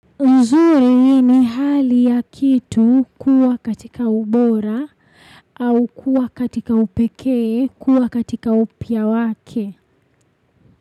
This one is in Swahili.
Uzuri ni hali ya kitu kuwa katika ubora au kuwa katika upekee kuwa katika upya wake.